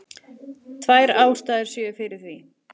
Tvær ástæður séu fyrir því